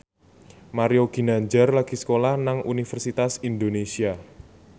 Mario Ginanjar lagi sekolah nang Universitas Indonesia